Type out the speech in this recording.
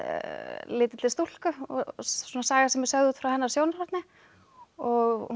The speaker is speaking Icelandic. lítilli stúlku og saga sem er sögð út frá hennar sjónarhorni og hún